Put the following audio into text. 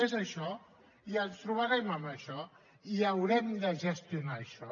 és això i ens trobarem amb això i haurem de gestionar això